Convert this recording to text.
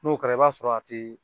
N'o kɛra i b'a sɔrɔ a tɛ